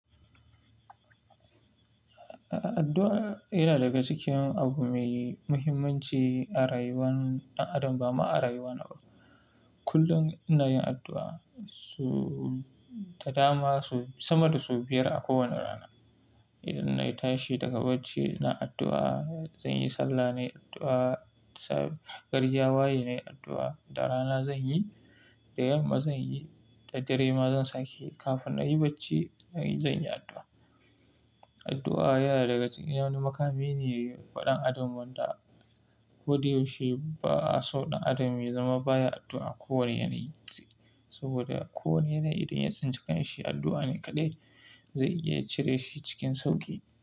Addu'a yana daga cikin abu mai muhimmanci a rayuwan ɗan adam, bama a rayuwar na. Kullum ina yin addu'a, so ta dama sama da so biyar a kowane rana. Idan na yi tashi daga bacci, na addu'a, zan yi sallah, na yi addu'a, gari ya waye, na yi addu'a, da rana zan yi, da yamma zan yi, da dare ma zan sake kafin na yi bacci, zan yi addu'a. Addu'a yana daga cikin yawani makami ne waɗannan adon wanda ko da yaushe ba sau ɗan adam ya zama ba ya addu'a kowane yanayi ce. Saboda kowane yanayi idan ya tsinci kanshi addu'a ne kaɗai zai iya cire shi cikin sauƙi.